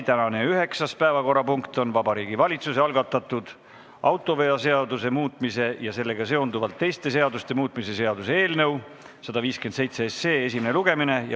Tänane üheksas päevakorrapunkt on Vabariigi Valitsuse algatatud autoveoseaduse muutmise ja sellega seonduvalt teiste seaduste muutmise seaduse eelnõu 157 esimene lugemine.